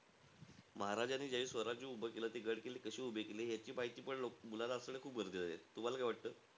महाराजांनी जे स्वराज्य उभं केलं, ते गड-किल्ले कशे उभे केले, याची माहितीपण मुलांना असणं खूप गरजेचं आहे. तुम्हाला काय वाटतं?